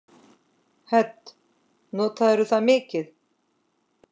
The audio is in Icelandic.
Hödd: Notarðu það mikið?